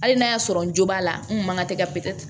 Hali n'a y'a sɔrɔ n jo b'a la n kun man ka tɛ ka pɛtɛ